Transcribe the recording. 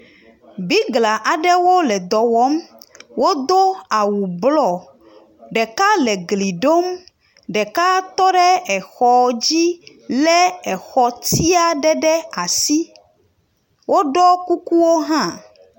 Bigla aɖewo le dɔ wɔm. Wodo awu blɔ ɖeka le gli ɖom. Ɖeka tɔ ɖe exɔ dzi lé exɔ tsi aɖe ɖe asi woɖɔ kukuwo hã.